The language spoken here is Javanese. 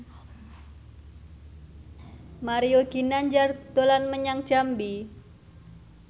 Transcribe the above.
Mario Ginanjar dolan menyang Jambi